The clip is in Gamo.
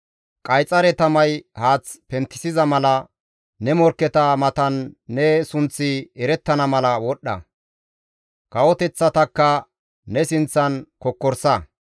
Qayxare tamay haath penttisiza mala, ne morkketa matan ne sunththi erettana mala wodhdha; kawoteththatakka ne sinththan kokkorssa.